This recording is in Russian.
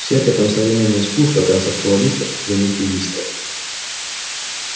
всякое там современное искусство концептуалистов и примитивистов